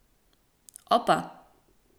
Opa!